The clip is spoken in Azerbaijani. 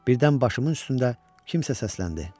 Birdən başımın üstündə kimsə səsləndi.